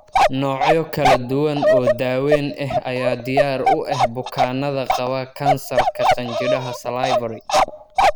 Noocyo kala duwan oo daaweyn ah ayaa diyaar u ah bukaanada qaba kansarka qanjidhada salivary.